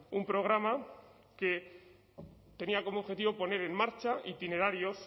un programa que tenía como objetivo poner en marcha itinerarios